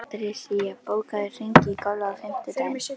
Patrisía, bókaðu hring í golf á fimmtudaginn.